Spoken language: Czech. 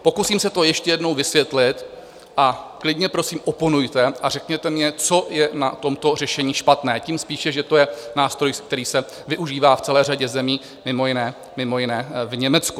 Pokusím se to ještě jednou vysvětlit, a klidně prosím oponujte a řekněte mně, co je na tomto řešení špatné, tím spíše, že to je nástroj, který se využívá v celé řadě zemí, mimo jiné v Německu.